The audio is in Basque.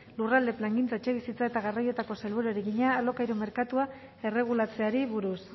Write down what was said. lurralde plangintza etxebizitza eta garraioetako sailburuari egina alokairu merkatua erregulatzeari buruz